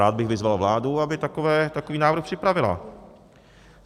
Rád bych vyzval vládu, aby takový návrh připravila.